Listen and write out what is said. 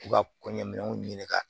U ka kɔɲɔminɛnw ɲini ka